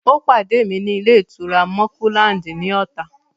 Ó pàdé mi ní ilé-ìtura Mọ́kúláǹdì ní Ọ̀tà.